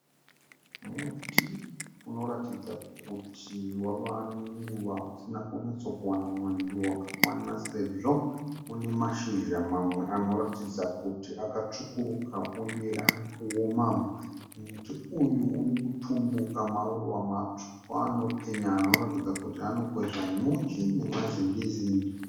Muti unoratidza kuti wava nenguva usina kunyatsokuwana mwando wakakwana sezvo une mashizha mamwe anoratidza kuti akatsvukuruka uye ari kuoma. Muti uyu uri kutumbuka maruva matsvuku anopenya anoratidza kuti anokwezva nyuchi namazingizi.